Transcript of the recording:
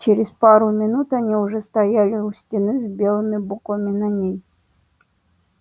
через пару минут они уже стояли у стены с белыми буквами на ней